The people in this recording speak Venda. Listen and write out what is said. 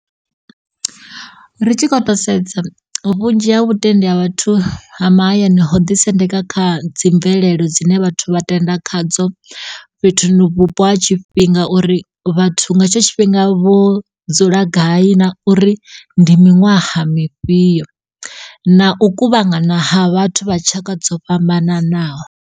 Ri tshi kho to sedza vhunzhi ha vhutendi ha vhathu ha mahayani ho ḓisendeka kha dzi mvelelo dzine vhathu vha tenda khadzo fhethu vhupo ha tshifhinga uri vhathu nga etsho tshifhinga vho dzula gai na uri ndi miṅwaha mifhiyo na u kuvhangana ha vhathu vha tshaka dzo fhambananaho.